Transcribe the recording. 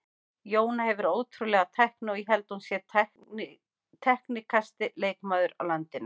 Jóna hefur ótrúlega tækni og ég held hún sé teknískasti leikmaður á landinu.